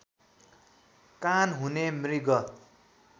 कान हुने मृग